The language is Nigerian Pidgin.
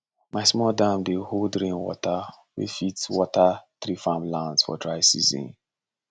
my small dam dey hold rain water wey fit water three farmlands for dry season